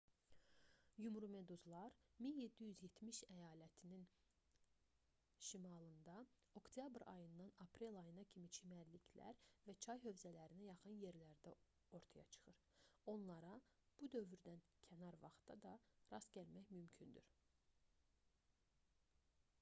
yumrumeduzlar 1770 əyalətinin şimalında oktyabr ayından aprel ayına kimi çimərliklər və çay hövzələrinə yaxın yerlərdə ortaya çıxır onlara bu dövrdən kənar vaxtda da rast gəlmək mümkündür